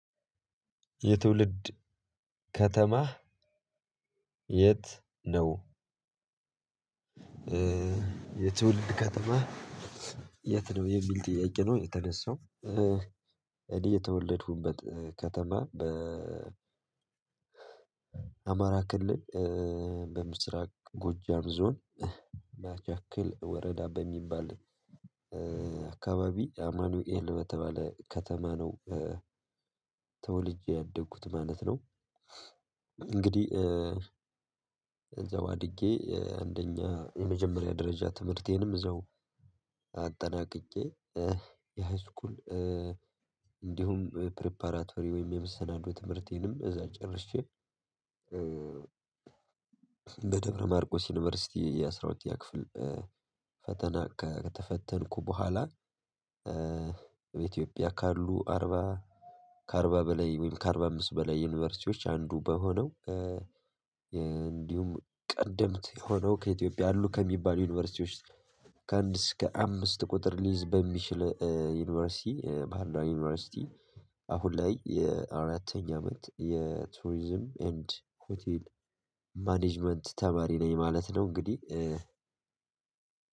የትውልድ ከተማህ የት ነው? የትውልድ ከተማህ የት ነው የሚል ጥያቄ ነው የተነሳው። እኔ የተወለድኩበት ከተማ በ አማራ ክልል በምስራቅ ጎጃም ዞን ማቻክል ወረዳ በሚባል አካባቢ አማኑኤል በተባለ ከተማ ነው ተወልጄ ያደግኩት ማለት ነው። እንግዲህ እዛው አድጌ አንደኛ የመጀመሪያ ደረጃ ትምህርቴንም እዛው አጠናቅቄ የሃይስኩል እንዲሁም ፕሪፓራቶሪ ወይም የመሰናዶ ትምህርቴንም እዛ ጨርሼ። በደብረ ማርቆስ ዩኒቨርሲቲ የአስራ ሁለተኛ ክፍል ፈተና ከተፈተንኩ በኋላ። ኢትዮጵያ ካሉ አርባ ከአርባ በላይ ከአርባ አምስት በላይ ዩኒቨርሲቲዎች አንዱ በሆነው። እንዲሁም ቀድምት የሆነው ከኢትዮጵያ አሉ ከሚባሉ ዩኒቨርሲቲዎች ከአንድ እስከ አምስት ቁጥር ሊይዝ በሚችል ዩኒቨርሲቲ ባህር ዳር ዩኒቨርሲቲ አሁን ላይ የአራተኛ አመት የቱሪዝም ኤንድ ሆቴል ማኔጅመንት ተማሪ ነኝ ማለት ነው። እንግዲህ